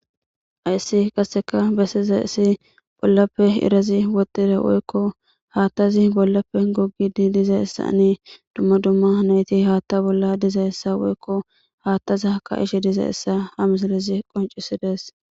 Hayssi qaseka besizayisi bollappe iirazi wottidi woyikko bollappe wodhidi hattazi bollappe gogidi dizzayisanne duma duma nayti haata bolla dizayisa woyikko hatta ka'ishe dizzayisa ha missilezi qonccisides.